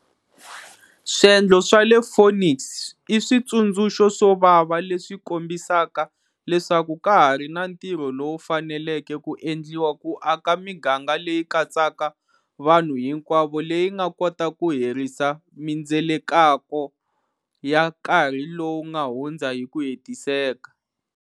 Swiendlo swa le Phoenix i switsundzuxo swo vava leswi kombisaka leswaku ka ha ri na ntirho lowu faneleke ku endliwa ku aka miganga leyi katsaka vanhu hinkwavo leyi nga kota ku herisa mindzelekako ya karhi lowu nga hundza hi ku hetiseka.